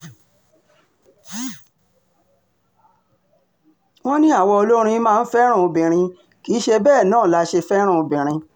wọ́n ní àwa olórin máa ń fẹ́ràn obìnrin kì í ṣe bẹ́ẹ̀ náà la ṣe fẹ́ràn obìnrin